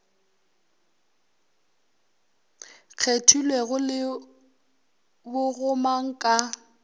kgethelwego le bo gomang ka